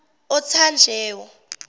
othanjewo